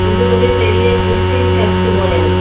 இது ஒரு பெரிய கிறிஸ்டின் சர்ச் போல இருக்கு.